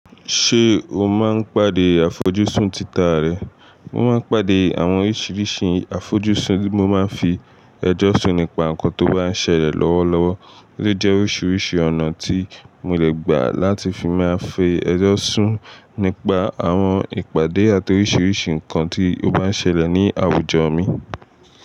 Ṣé o máa ń pàdé àfojúsùn títà rẹ? Mo máa ń pàdé àwọn oríṣiríṣi àfojúsùn tí mo máa ń fi ẹjọ́ sún nípa nǹkan tó bá ń ṣẹlẹ̀ lọ́wọ́lọ́wọ́, ó jẹ́ oríṣiríṣi ọ̀nà tí mo lè gbà láti fi máa fi ẹjọ́ sún nípa àwọn ìpàdé àti oríṣiríṣi nǹkan tí ó bá ń ṣẹlẹ̀ ní àwùjọ mi.